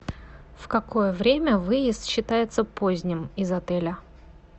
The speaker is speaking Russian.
в какое время выезд считается поздним из отеля